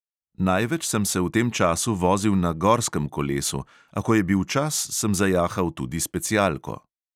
Največ sem se v tem času vozil na gorskem kolesu, a ko je bil čas, sem zajahal tudi specialko.